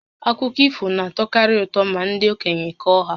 Akụkọ ifo na-atọkarị ụtọ ma ndị okenye kọọ ha